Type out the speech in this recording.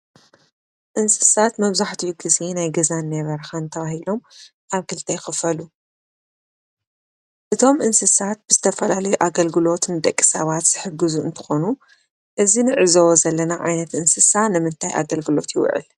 እንስሳት መብዛሕትኡ ግዜ ናይ ገዛን ናይ በረኻን ተባሂሎም ኣብ ክልተ ይኽፈሉ ፡፡እቶም እንስሳት ብዝተፈላለየ ኣገልግሎትን ንደቂ ሰባት ዝሕግዙ እንትኾኑ እዚ ንዕዘቦ ዘለና ዓይነት እንስሳ ንምታይ ኣገልግሎት ይውዕል?